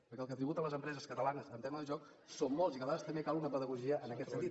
perquè el que tributen les empreses catalanes en tema de joc són molts i que a vegades també cal una pedagogia en aquest sentit